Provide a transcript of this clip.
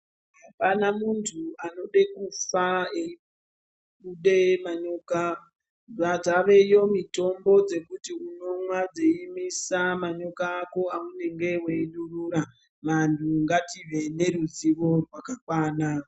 Apana muntu anoda kufa eibude manyoka dzaveyo mitombo dzekuti unomwa dzeimisa manyoka ako aunenge wei durura vantu ngative neruzivo rwakakwana.